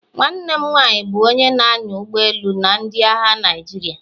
Nwanne m nwanyị bụ onye na-anya ụgbọ elu na ndị agha Naịjirịa.